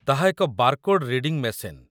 ତାହା ଏକ barcode reading machine